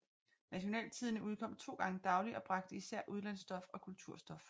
Nationaltidende udkom to gange dagligt og bragte især udlandsstof og kulturstof